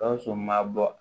Gawusu ma bɔ